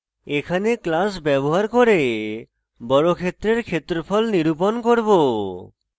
এখানে আমরা class ব্যবহার করে বর্গক্ষেত্রের ক্ষেত্রফল নিরূপণ করব